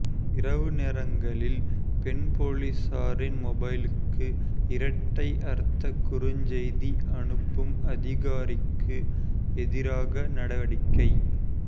இரவு நேரங்களில் பெண் பொலிசாரின் மொபைலுக்கு இரட்டை அர்த்த குறுஞ்செய்தி அனுப்பும் அதிகாரிக்கு எதிராக நடவடிக்கை